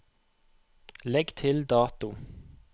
Legg til dato